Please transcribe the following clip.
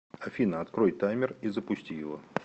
афина открой таймер и запусти его